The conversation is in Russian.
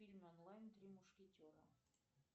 фильм онлайн три мушкетера